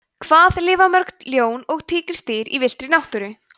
hvað lifa mörg ljón og tígrisdýr í villtri náttúru